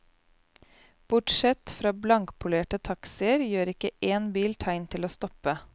Bortsett fra blankpolerte taxier, gjør ikke én bil tegn til å stoppe.